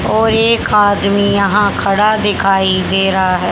और एक आदमी यहां खड़ा दिखाई दे रहा है।